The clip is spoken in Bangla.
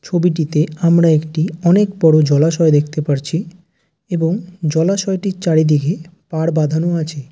ছবিটিতে আমরা একটিই অনেকক বড়োও জলাশয় দেখতে পারছি এবং জলাশয়টির চারিদিকেএ পাড় বাঁধানো আছে